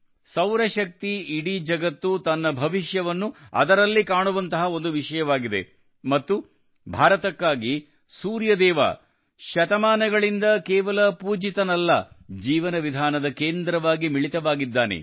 ಸೌರಶಕ್ತಿ ಇಡೀ ಜಗತ್ತು ತನ್ನ ಭವಿಷ್ಯವನ್ನು ಅದರಲ್ಲಿ ಕಾಣುವಂತಹ ಒಂದು ವಿಷಯವಾಗಿದೆ ಮತ್ತು ಭಾರತಕ್ಕಾಗಿ ಸೂರ್ಯ ದೇವ ಶತಮಾನಗಳಿಂದ ಕೇವಲ ಪೂಜಿತನಲ್ಲ ಜೀವನ ವಿಧಾನದ ಕೇಂದ್ರವಾಗಿ ಮಿಳಿತವಾಗಿದ್ದಾನೆ